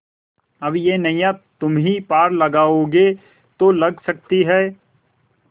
अब यह नैया तुम्ही पार लगाओगे तो लग सकती है